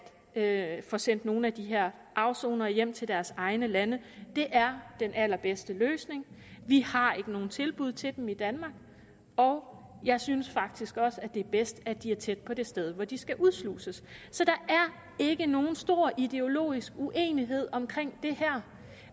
at få sendt nogle af de her afsonere hjem til deres egne lande det er den allerbedste løsning vi har ikke nogen tilbud til dem i danmark og jeg synes faktisk også det er bedst at de er tæt på det sted hvor de skal udsluses så der er ikke nogen stor ideologisk uenighed om det her